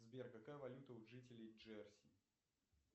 сбер какая валюта у жителей джерси